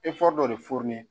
dɔ de